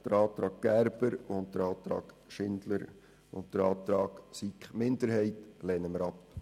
Den Antrag Gerber/Grüne, den Antrag Schindler/SP-JUSO-PSA und den Antrag der SiK-Minderheit lehnen wir ab.